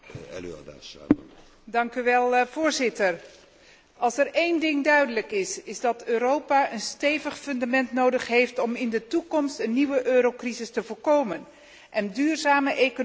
Voorzitter, als er één ding duidelijk is, is het dat Europa een stevig fundament nodig heeft om in de toekomst een nieuwe eurocrisis te voorkomen en duurzame economische groei zeker te stellen.